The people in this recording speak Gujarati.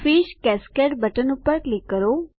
ફિશ કાસ્કેડ બટન ઉપર ક્લિક કરો